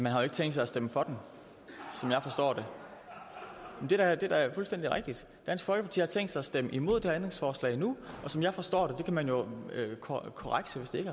har ikke tænkt sig at stemme for den som jeg forstår det det er da fuldstændig rigtigt dansk folkeparti har tænkt sig at stemme imod det ændringsforslag nu og som jeg forstår det det kan man jo korrekse hvis ikke